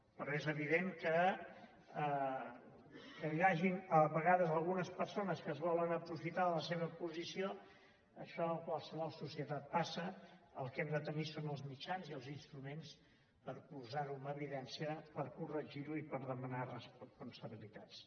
però és evident que perquè hi hagin a vegades algunes persones que es volen aprofitar de la seva posició això a qualsevol societat passa el que hem de tenir són els mitjans i els instruments per posar ho en evidència per corregir ho i per demanar responsabilitats